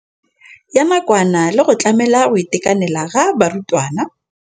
Ya nakwana le go tlamela go itekanela ga barutwana.